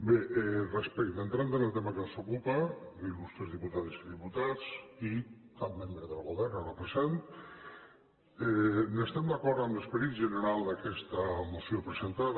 bé entrant en el tema que ens ocupa l’il·lustres dipu·tades i diputats i cap membre del govern ara present estem d’acord amb l’esperit general d’aquesta moció presentada